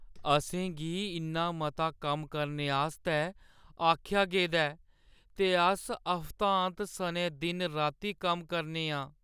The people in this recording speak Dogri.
असें गी इन्ना मता कम्म करने आस्तै आखेआ गेदा ऐ जे अस हफ्तांत सनै दिन-राती कम्म करा ने आं।